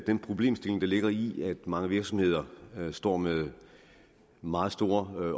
den problemstilling der ligger i at mange virksomheder står med meget store